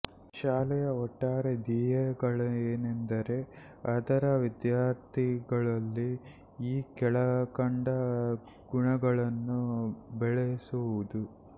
ಶಾಲೆಯ ಒಟ್ಟಾರೆ ಧ್ಯೇಯಗಳೇನೆಂದರೆ ಅದರ ವಿದ್ಯಾರ್ಥಿಗಳಲ್ಲಿ ಈ ಕೆಳಕಂಡ ಗುಣಗಳನ್ನು ಬೆಳಸುವುದು